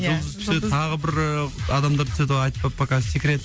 басты рөлде деп өзің басты рөлде өзім түсемін ия жұлдыз түседі тағы бір і адамдар түседі пока секрет